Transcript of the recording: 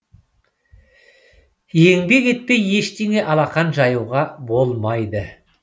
еңбек етпей ештеңе алақан жаюға болмайды